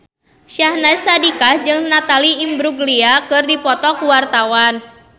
Syahnaz Sadiqah jeung Natalie Imbruglia keur dipoto ku wartawan